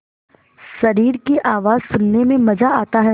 शरीर की आवाज़ सुनने में मज़ा आता है